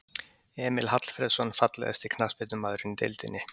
Emil Hallfreðsson Fallegasti knattspyrnumaðurinn í deildinni?